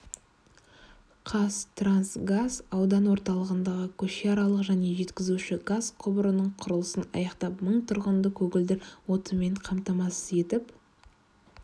қазтрансгаз аудан орталығындағы көшеаралық және жеткізуші газ құбырының құрылысын аяқтап мың тұрғынды көгілдір отынмен қамтамасыз етіп